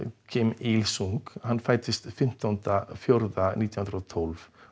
Kim il sung hann fæddist fimmtánda nítján hundruð og tólf